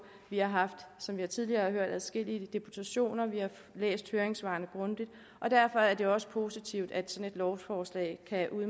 vi har som vi tidligere har hørt haft adskillige deputationer og vi har læst høringssvarene grundigt derfor er det også positivt at sådan et lovforslag kan